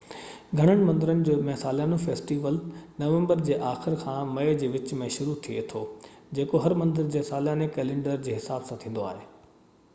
گهڻن مندرن ۾ ساليانو فيسٽيول نومبر جي آخر کان مئي جي وچ ۾ شروع ٿئي ٿو جيڪو هر مندر جي سالياني ڪئلينڊر جي حساب سان ٿيندو آهي